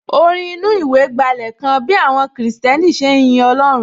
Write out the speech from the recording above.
Orin inú ìwé gbálẹ̀ kan bí àwọn kìrìsìtẹ́nì ṣe ń yin Ọlọ́run